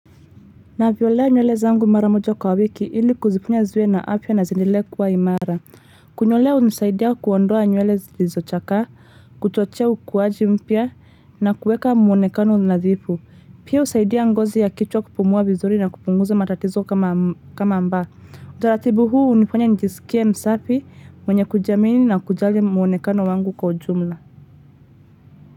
Navyolea nywele zangu mara moja kwa wiki ili kuziponya ziwe na afya na ziendelee kuwa imara. Kunyolewa hunisaidia kuondoa nywele zilizochakaa, kuchochea ukuaji mpya, na kuweka muonekano nadhifu. Pia husaidia ngozi ya kichwa kupumua vizuri na kupunguza matatizo kama mba. Utaratibu huu hunifanya nijisikie msafi mwenye kujiamini na kujali muonekano wangu kwa ujumla.